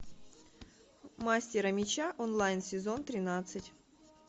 мастера меча онлайн сезон тринадцать